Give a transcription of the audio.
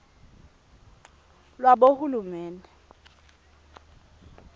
lwabohulumende